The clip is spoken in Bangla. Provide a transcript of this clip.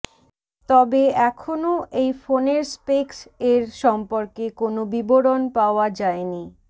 তবে এখনো এই ফোনের স্পেকস এর সম্পর্কে কোন বিবরণ পাওয়া যায়েনি